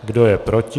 Kdo je proti?